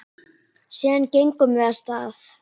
Síðan gengum við af stað.